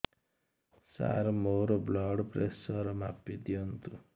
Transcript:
ସାର ମୋର blood pressure ମାପି ଦିଅନ୍ତୁ